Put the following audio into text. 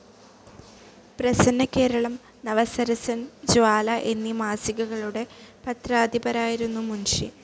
പ്രസന്നകേരളം, നവസരസൻ ജ്വാല എന്നീ മാസികകളുടെ പത്രാധിപരായിരുന്നു മുൻഷി.